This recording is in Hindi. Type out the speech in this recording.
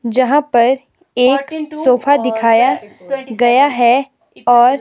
जहां पर एक सोफा दिखाया गया है और--